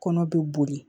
Kɔnɔ bɛ boli